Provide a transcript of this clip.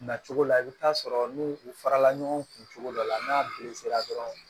Na cogo la i bɛ taa sɔrɔ n'u u farala ɲɔgɔn kun cogo dɔ la n'a dɔrɔn